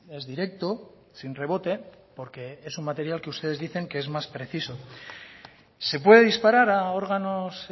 es directo sin rebote porque es un material que ustedes dicen que es más preciso se puede disparar a órganos